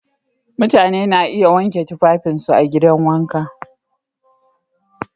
Mutane na iya wanke tufafinsu a gidan wanka.